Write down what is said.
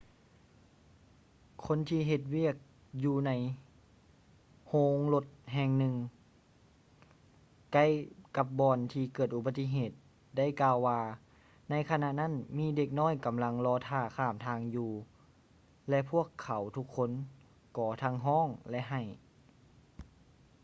ຄົນທີ່ເຮັດວຽກຢູ່ໃນໂຮງລົດແຫ່ງໜຶ່ງໃກ້ກັບບ່ອນທີ່ເກີດອຸປະຕິເຫດໄດ້ກ່າວວ່າ ໃນຂະນະນັ້ນມີທີ່ເດັກນ້ອຍກຳລັງລໍຖ້າຂ້າມທາງຢູ່ ແລະ ພວກເຂົາທຸກຄົນກໍທັງຮ້ອງ ແລະ ໄຫ້